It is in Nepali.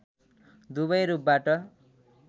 दुबै रूपबाट